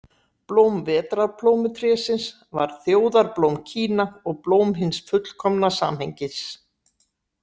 Blóm vetrarplómutrésins var þjóðarblóm Kína og blóm hins fullkomna samhengis.